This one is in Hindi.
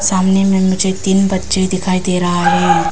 सामने में मुझे तीन बच्चे दिखाई दे रहा है।